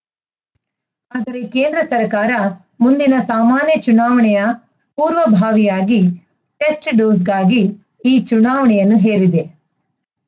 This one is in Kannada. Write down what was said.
ಆದರೆ ಕೇಂದ್ರ ಸರ್ಕಾರ ಮುಂದಿನ ಸಾಮಾನ್ಯ ಚುನಾವಣೆಯ ಪೂರ್ವಭಾವಿಯಾಗಿ ಟೆಸ್ಟ್‌ಡೋಸ್‌ಗಾಗಿ ಈ ಚುನಾವಣೆಯನ್ನು ಹೇರಿದೆ